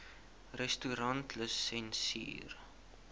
restaurantlisensier